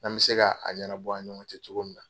An bi se ka a ɲɛnabɔ an ni ɲɔgɔn cɛ cogo min na